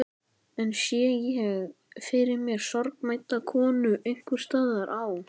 Enn sé ég fyrir mér sorgmædda konu einhvers staðar á